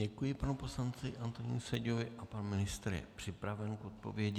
Děkuji panu poslanci Antonínu Seďovi a pan ministr je připraven k odpovědi.